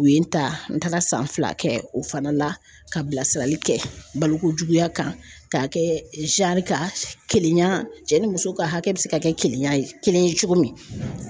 U ye n ta n taaar san fila kɛ o fana la ka bilasirali kɛ balokojuguya kan k'a kɛ kan kelenya cɛ ni muso ka hakɛ bɛ se ka kɛ kelenya ye kelen ye cogo min